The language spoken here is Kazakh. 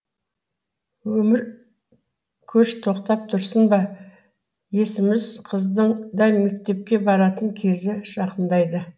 өмір көш тоқтап тұрсын ба есіміз қыздың да мектепке баратын кезі жақындайды